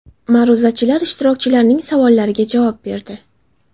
Ma’ruzachilar ishtirokchilarning savollariga javob berdi.